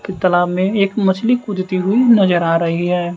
त तालाब में एक मछली कूदती हुई नजर आ रही हैं।